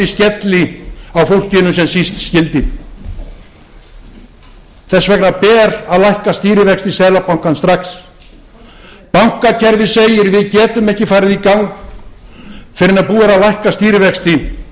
skelli á fólkinu sem síst skyldi þess vegna ber að lækka stýrivexti seðlabankans strax bankakerfið segir við getum ekki farið í gang fyrr en búið er að lækka stýrivexti